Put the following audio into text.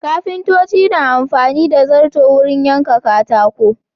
Kafintoci na amfani da zarto wurin yanka katako.